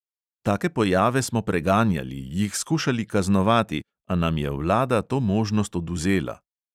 Take pojave smo preganjali, jih skušali kaznovati, a nam je vlada to možnost odvzela.